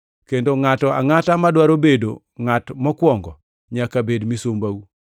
kendo ngʼato angʼata madwaro bedo ngʼat mokwongo nyaka bed misumbau,